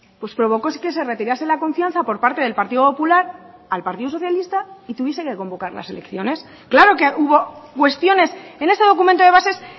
pues provocó que se retirase la confianza por parte del partido popular al partido socialista y tuviese que convocar las elecciones claro que hubo cuestiones en ese documento de bases